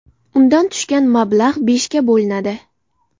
Undan tushgan mablag‘ beshga bo‘linadi.